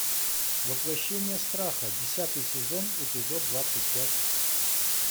воплощение страха десятый сезон эпизод двадцать пять